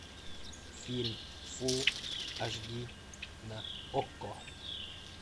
фильм фулл аш ди на окко